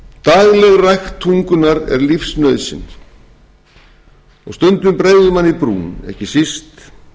dagleg rækt tungunnar er lífsnauðsyn og stundum bregður manni í brún ekki síst